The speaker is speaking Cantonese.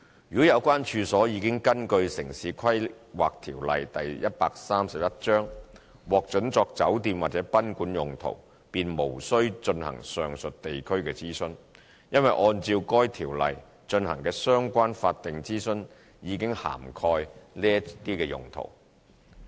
如果有關處所已根據《城市規劃條例》獲准作酒店或賓館用途，便無需進行上述地區諮詢，因為按照該條例進行的相關法定諮詢已涵蓋這些用途。